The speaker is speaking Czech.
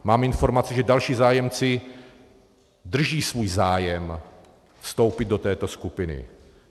Mám informaci, že další zájemci drží svůj zájem vstoupit do této skupiny.